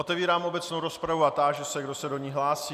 Otevírám obecnou rozpravu a táži se, kdo se do ní hlásí.